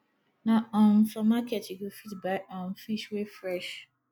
na um for market you go fit buy um fish wey fresh